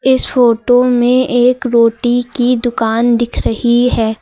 इस फोटो में एक रोटी की दुकान दिख रही है।